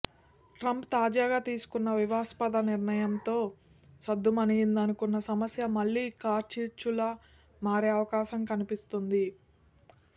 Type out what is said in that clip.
Trump తాజాగా తీసుకున్న వివాదాస్పద నిర్ణయంతో సద్దుమణిగిందనుకున్న సమస్య మళ్లీ కార్చిచ్చులా మారే అవకాశం కనిపిస్తోంది